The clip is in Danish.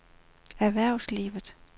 erhvervslivet